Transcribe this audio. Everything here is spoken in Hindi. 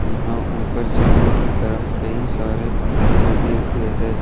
यहां ऊपर से सीलिंग की तरफ कई सारे पंखे लगे हुए हैं।